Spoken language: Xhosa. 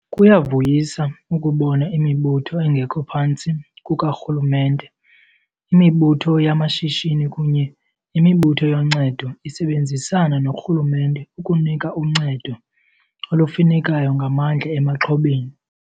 Kuyavuyisa ukubona imibutho engekho phantsi kukarhulumente, imibutho yamashishini kunye nemibutho yoncedo isebenzisana norhulumente ukunika uncedo olufunekayo ngamandla emaxhobeni.